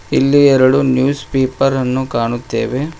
ಇಲ್ಲಿ ಎರಡು ನ್ಯೂಸ್ಪೇಪರ್ ಅನ್ನು ಕಾಣುತ್ತೇವೆ.